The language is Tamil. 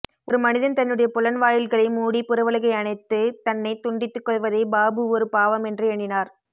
ஒருமனிதன் தன்னுடைய புலன்வாயில்களை மூடிப் புறவுலகை அணைத்துத் தன்னைத் துண்டித்துக் கொள்வதை பாபு ஒரு பாவமென்றே எண்ணினார்